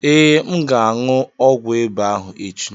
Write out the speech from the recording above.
Ee, M ga-aṅu ọgwụ ịba ahụ echi.